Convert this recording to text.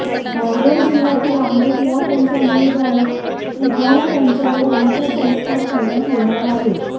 रायगड जिल्ह्यातील आंबेत या त्यांच्या मूळ गावी बुधवारी त्यांच्यावर अंत्यसंस्कार करण्यात येणार आहेत